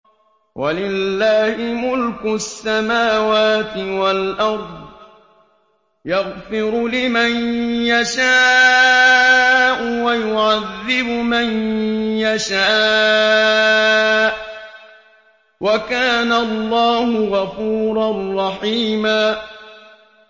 وَلِلَّهِ مُلْكُ السَّمَاوَاتِ وَالْأَرْضِ ۚ يَغْفِرُ لِمَن يَشَاءُ وَيُعَذِّبُ مَن يَشَاءُ ۚ وَكَانَ اللَّهُ غَفُورًا رَّحِيمًا